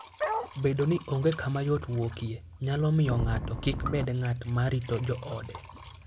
Bedo ni onge kama yot wuokie, nyalo miyo ng'ato kik bed ng'at ma rito joode.